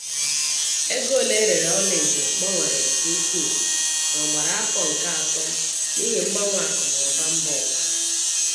Ego ole erere ọla edo gbanwere nke ukwuu n'ogbara afọ nke atọ n'ihi mgbanwe akụ na ụba mba ụwa.